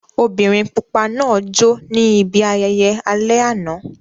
Obìnrin pupa náà jó ní ibi ayẹyẹ alẹ́ àná.